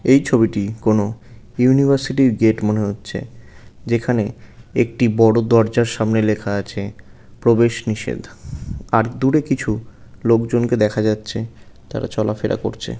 এই ছবিটি কোনো ইউনিভার্সিটি -র গেট মনে হচ্ছে যেখানে একটি বড়ো দরজার সামনে লেখা আছে প্রবেশ নিষেধ আর দূরে কিছু লোকজনকে দেখা যাচ্ছে তারা চলাফেরা করছে।